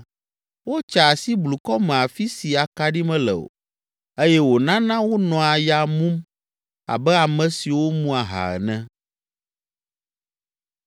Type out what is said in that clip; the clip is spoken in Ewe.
Wotsaa asi blukɔ me afi si akaɖi mele o eye wònana wonɔa ya mum abe ame siwo mu aha ene.”